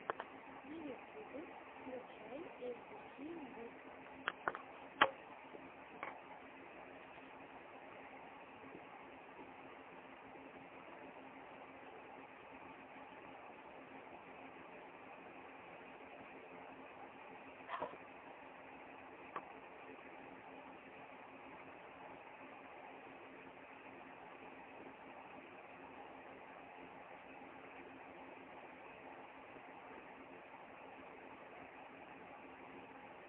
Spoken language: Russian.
на ютьюбе включай эй би си ньюс